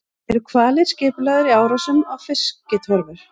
Eru hvalir skipulagðir í árásum á fiskitorfur?